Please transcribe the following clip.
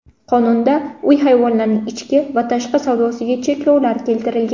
Qonunda uy hayvonlarining ichki va tashqi savdosiga cheklovlar keltirilgan.